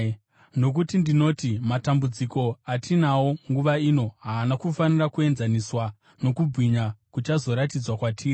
Nokuti ndinoti matambudziko atinawo nguva ino haana kufanira kuenzaniswa nokubwinya kuchazoratidzwa kwatiri.